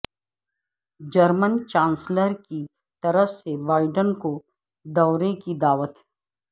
German chancellor کی طرف سے بائیڈن کو دورے کی دعوت